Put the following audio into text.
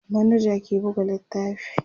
manaja ke buga littafi